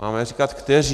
Máme říkat kteří.